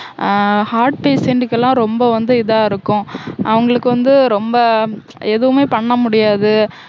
அஹ் heart patient க்கு எல்லாம் ரொம்ப வந்து இதா இருக்கும் அவங்களுக்கு வந்து ரொம்ப எதுவுமே பண்ண முடியாது